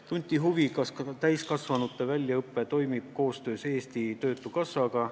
Tunti huvi, kas täiskasvanute väljaõpe toimib koostöös Eesti Töötukassaga.